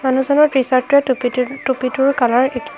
মানুহজনৰ টিচাৰ্তটোই টুপীটো টুপীটো কালাৰ একে